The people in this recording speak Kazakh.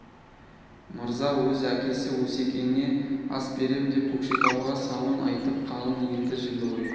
мырза өз әкесі өсекеңе ас берем деп көкшетауға сауын айтып қалың елді жиды ғой